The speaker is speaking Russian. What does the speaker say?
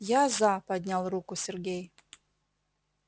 я за поднял руку сергей